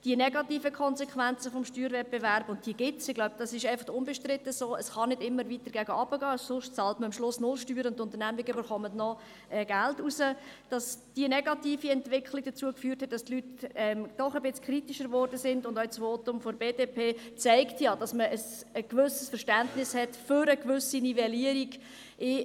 Die negativen Konsequenzen des Steuerwettbewerbs –diese gibt es, ich glaube, dies ist unbestritten, es kann nicht immer weiter nach unten gehen, sonst bezahlt man null Steuern, und die Unternehmungen bekommen noch Geld zurück –, haben dazu geführt, dass die Leute doch kritischer geworden sind, und auch das Votum der BDP zeigt, dass man ein gewisses Verständnis für eine gewisse Nivellierung hat.